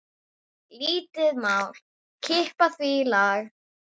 Lítið mál að kippa því í lag.